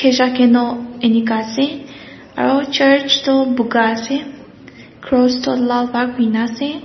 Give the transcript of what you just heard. khezakeno enika ase aro church toh buka ase cross toh lal ba kurina ase.